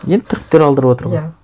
енді түріктер алдырыватыр ғой иә